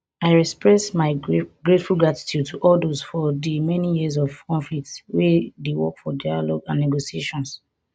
i express my grateful appreciation to all dose for di many areas of conflict wey dey work for dialogue and negotiations